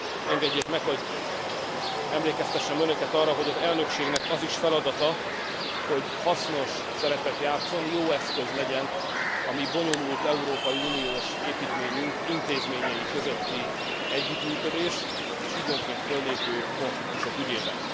Engedjék meg, hogy emlékeztessem önöket arra, hogy az elnökségnek az is feladata, hogy hasznos szerepet játsszon, jó eszköz legyen a mi bonyolult európai uniós építményünk intézményei közötti együttműködés és időnként föllépő konfliktusok ügyében.